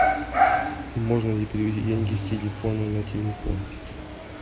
можно ли перевести деньги с телефона на телефон